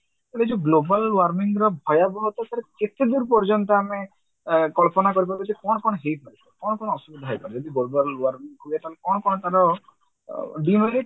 ଗୋଟେ ଯଉ global warming ର ଭାୟାବହ ତ sir କେତେଦୂର ପର୍ଯ୍ୟନ୍ତ ଆମେ ଆ କଳ୍ପନା କରିପାରିବା ଯେ କଣ କଣ ହେଇପାରିବ କଣ କଣ ଅସୁବିଧା ହେଇପାରିବ ଯଦି global warming ହୁଏ ତାହେଲେ କଣ କଣ ତାର